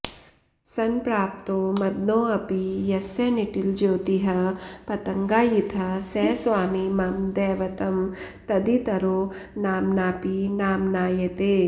संप्राप्तो मदनोऽपि यस्य निटिलज्योतिःपतङ्गायितः स स्वामी मम दैवतं तदितरो नाम्नापि नाम्नायते